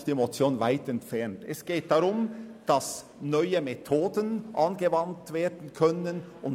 Ich würde mich freuen, Sie alle morgen um 9.00 Uhr wieder gesund und munter hier begrüssen zu dürfen.